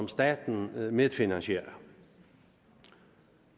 staten medfinansierer